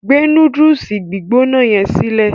Gbe núdùùsì gbígbóná yẹn sílẹ.